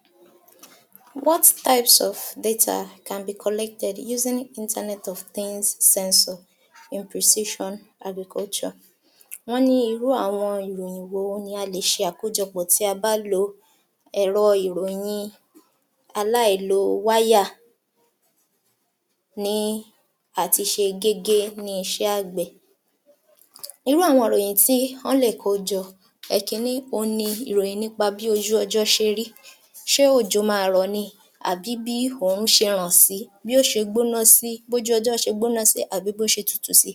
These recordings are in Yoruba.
49. What types of data can be collected using Internet of ten sensor imposition agriculture. Wọ́n ní irú àwọn ìròyìn wo ni a lè ṣe àkójọpọ̀ tí a bá lo ẹ̀rọ ìròyin aláìlo wáyà ní àtiṣe gégé ní iṣẹ́ àgbẹ̀. Irú àwọn ìròyìn tí wọ́n lè kó jọ. Ẹ̀kínní, òun ni ìròyìn bí ojú ọjọ́ ṣe rí, ṣé òjò ma rọ̀ ni àbí bí òòrùn ṣe ràn sí, bí ó ṣe gbóná sí, bí ojú ọjọ́ ṣe gbóná sí àbí bó ṣe tutù sí.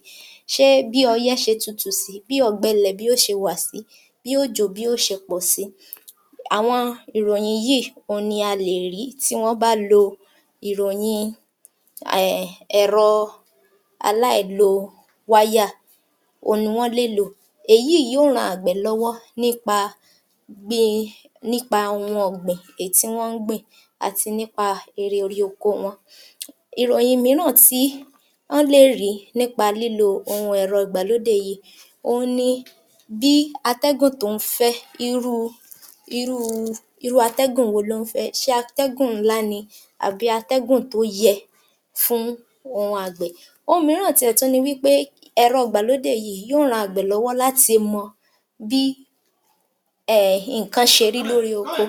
Ṣé bí ọyẹ́ ṣe tutù sí, bí ọ̀gbẹlẹ̀ bí ó ṣe wà sí, bí òjò bí ó ṣe pọ̀ sí. Àwọn ìròyìn yìí ni a lè rí tí wọ́n bá lo ìròyin um ẹ̀rọ aláìlo wáyà òhun ni wọ́n lè lò, èyí yìí yó ran àgbẹ̀ lọ́wọ́ [umum] nípa ohun ọ̀gbìn èyí tí wọ́n ń gbìn àti nípa ère orí oko wọn. Ìròyìn mìíràn tí ọ́n lè rí nípa lílo ohun ẹ̀rọ ìgbàlódé yìí, òhun ni bí atẹ́gùn tó ń fẹ́ irúu, irú atẹ́gùn wo ló ń fẹ́, ṣé atẹ́gùn ńlá ni àbí atẹ́gùn tó yẹ fún ohun àgbẹ̀. Ohun mìíràn ti ẹ̀ tú ni wí pé, ẹ̀rọ ìgbàlódé yìí yó ran àgbẹ̀ lọ́wọ́ láti mọ bí um nǹkan ṣe rí lórí oko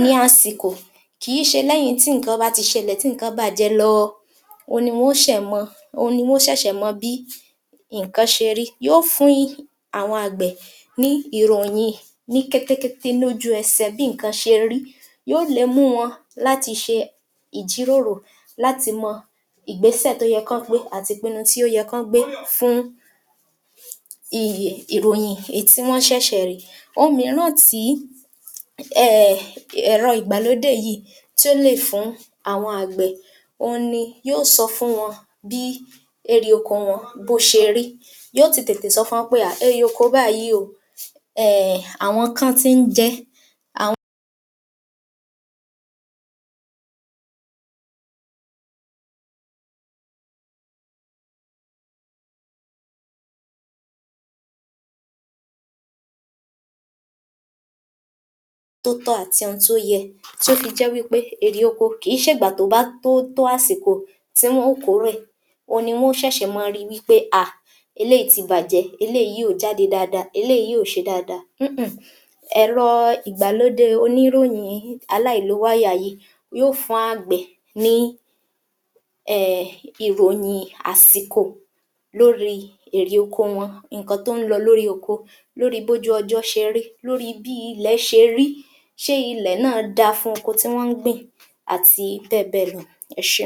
ní àsìkò kìí ṣe lẹ́yìn tí nǹkan bá ti ṣẹlẹ̀ tí nǹkan bàjẹ́ lọọ ohun ni wọn ó ṣẹ̀ mọ, òhun ni wọn ó ṣẹ̀ṣẹ̀ mọ bí nǹkan ṣe rí yó fún àwọn àgbẹ̀ ní ìròyìn ní kékékété lójú ẹsẹ̀ bí nǹkan ṣe rí, yó le mú wọn láti ṣe ìjíròrò láti mọ ìgbésẹ̀ tó yẹ kán gbé àti ìpinnu tó yẹ kán gbé fún ìròyìn tí wọ́n ṣẹ̀ṣẹ̀ rí. Ohun mìíràn tí um ẹ̀rọ ìgbàlódé yíìí tí ó lè fún àwọn àgbẹ̀ òhun ni yó sọ fún wọn bí erè oko wọn bó ṣe rí yó ti tètè sọ fún wọn pé à erè oko báyìí oo um àwọn kan ti ń jẹ ẹ́ àwọn [blank] tó tọ́ àti ohun tó yẹ tí ó fi jẹ́ wí pé èrè oko kìí ṣègbà tóbá tótó àsìkò tí wọ́n ó kòórè òhun ni wọn ó ṣẹ̀ṣẹ̀ máa ri wí pé à eléyìí ti bàjẹ́, eléyìí ò jáde dáadáa, eléyìí ò ṣe dáadáa ńǹ ẹ̀rọ ìgbàlódé oníròyin aláìlo wáyà yìí yó fún àgbẹ̀ ní um ìròyìn àsìkò lóríi èrè oko wọn, nǹkan tó ń lọ lórí oko, lórí bí ojú ọjọ́ ṣe rí, lóríi bí ilẹ̀ ṣe rí. Ṣé ilẹ̀ náà dáa fún oko tí wọ́n ń gbìn àti bẹ́ẹ̀ bẹ́ẹ̀ lọ. Ẹ ṣé.